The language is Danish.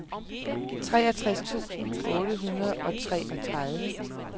treogtres tusind otte hundrede og treogtredive